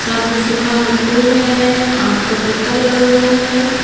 सामने सूखा हुआ फूल है आम का पत्ता लगा हुआ है।